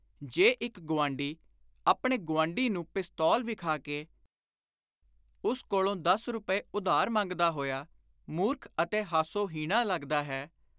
ਜੇ ਇਕ ਗੁਆਂਢੀ ਆਪਣੇ ਗੁਆਂਢੀ ਨੂੰ ਪਿਸਤੌਲ ਵਿਖਾ ਕੇ ਉਸ ਕੋਲੋਂ ਦਸ ਰੁਪਏ ਉਧਾਰ ਮੰਗਦਾ ਹੋਇਆ ਮੁਰਖ ਅਤੇ ਹਾਸੋ-ਹੀਣਾ ਲੱਗਦਾ ਹੈ